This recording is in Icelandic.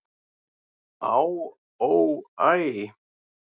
"""Á, ó, æ"""